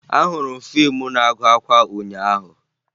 Ahụrụ m fiimu na-agụ akwa ụnyaahụ